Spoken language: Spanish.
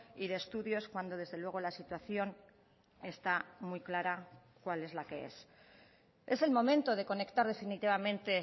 y de estudios cuando desde luego la situación está muy clara cuál es la que es es el momento de conectar definitivamente